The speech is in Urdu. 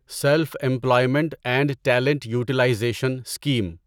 self employment and talent utilization scheme